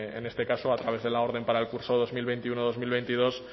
en este caso a través de la orden para el curso dos mil veintiuno dos mil veintidós